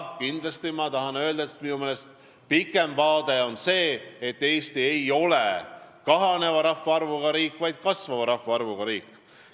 Kindlasti tahan ma öelda, et minu meelest on pikem vaade see, et Eesti ei ole kahaneva rahvaarvuga riik, vaid on kasvava rahvaarvuga riik.